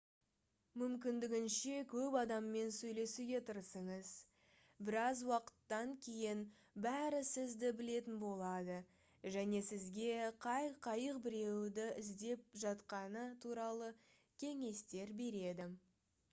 мүмкіндігінше көп адаммен сөйлесуге тырысыңыз біраз уақыттан кейін бәрі сізді білетін болады және сізге қай қайық біреуді іздеп жатқаны туралы кеңестер береді